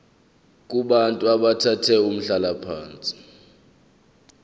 kubantu abathathe umhlalaphansi